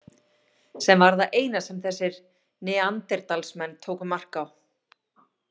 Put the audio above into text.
Sem var það eina sem þessir Neanderdalsmenn tóku mark á.